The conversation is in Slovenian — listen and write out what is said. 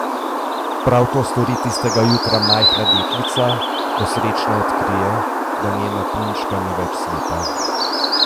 Prav to stori tistega jutra majhna deklica, ko srečna odkrije, da njena punčka ni več slepa.